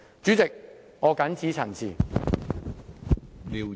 主席，我謹此陳辭。